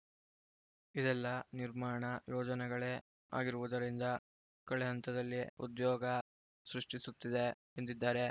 ಇದೆಲ್ಲಾ ನಿರ್ಮಾಣ ಯೋಜನೆಗಳೇ ಆಗಿರುವುದರಿಂದ ಕೆಳಹಂತದಲ್ಲಿ ಉದ್ಯೋಗ ಸೃಷ್ಟಿಸುತ್ತಿದೆ ಎಂದಿದ್ದಾರೆ